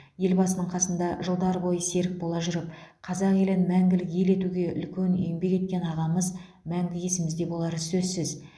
елбасының қасында жылдар бойы серік бола жүріп қазақ елін мәңгілік ел етуге үлкен еңбек еткен ағамыз мәңгі есімізде болары сөзсіз